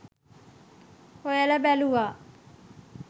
හොයල බැලුවා